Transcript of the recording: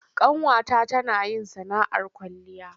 Ƙanwata tana yin sana'ar kwalliya.